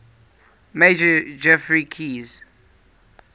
major geoffrey keyes